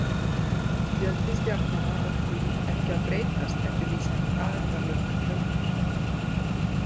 Fjöldi stjarnanna á því ekki að breytast eftir því sem aðildarlöndum fjölgar.